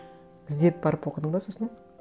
іздеп барып оқыдың ба сосын